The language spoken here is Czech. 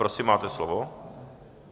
Prosím, máte slovo.